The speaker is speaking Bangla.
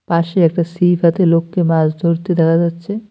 পাশে একটা সিপ হাতে লোককে মাছ ধরতে দেখা যাচ্ছে।